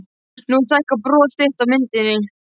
Nú stækkar bros þitt á myndinni.